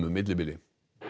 millibili